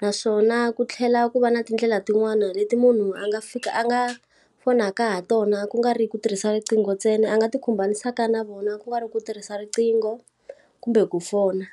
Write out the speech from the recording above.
Naswona ku tlhela ku va na tindlela tin'wani leti munhu a nga a nga fonaka ha tona ku nga ri ku tirhisa riqingho ntsena a nga ti khumbanisaka na vona ku nga ri ku tirhisa riqingho kumbe ku fona.